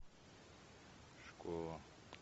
школа